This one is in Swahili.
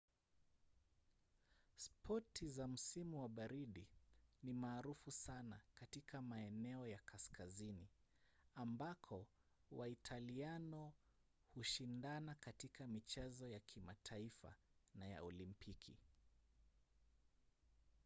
spoti za msimu wa baridi ni maarufu sana katika maeneo ya kaskazini ambako waitaliano hushindana katika michezo ya kimataifa na ya olimpiki